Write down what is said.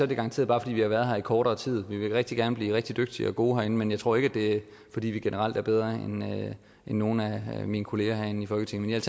det garanteret bare fordi vi har været her i kortere tid vi vil rigtig gerne blive rigtig dygtige og gode herinde men jeg tror ikke at det er fordi vi generelt er bedre end nogle af mine kollegaer herinde i folketinget